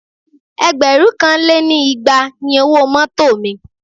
Ẹgbẹ̀rún kan lé ní igba ni owó mọ́tọ̀ mi.